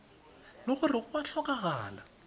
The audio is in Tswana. le gore go a tlhokagala